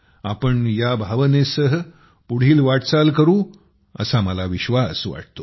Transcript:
आपण या भावनेसह पुढील वाटचाल करू असा विश्वास मला वाटतो